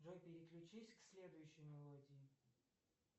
джой переключись к следующей мелодии